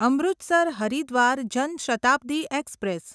Amritsar Haridwar Jan Shatabdi express